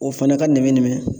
O fana ka nɛmɛ nɛmɛ.